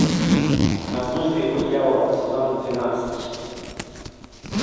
на службе у дьявола сезон двенадцать